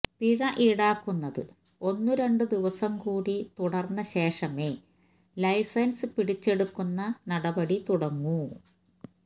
പിഴ ഈടാക്കുന്നത് ഒന്നുരണ്ടു ദിവസംകൂടി തുടർന്ന ശേഷമേ ലൈസൻസ് പിടിച്ചെടുക്കുന്ന നടപടി തുടങ്ങൂ